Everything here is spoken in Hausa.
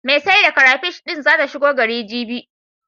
Mai sai da karafish din zata shigo gari, jibi.